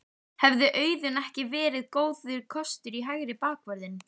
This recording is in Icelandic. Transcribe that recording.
Hefði Auðun ekki verið góður kostur í hægri bakvörðinn?